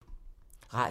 Radio 4